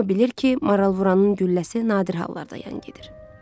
Hamı bilir ki, maralvuranın gülləsi nadir hallarda yan gedir.